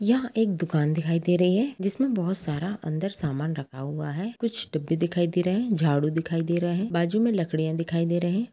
यह एक दुकान दिखाई दे रही है जिसमे बहोत सारा अंदर सामान रखा हुआ हैं कुछ डिब्बे दिखाई दे रहे हैं झाड़ू दिखाई दे रहे हैं बाजू में लकड़ियां दिखाई दे रहे हैं।